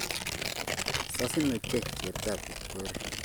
Sasin ochei cheptab Kipkori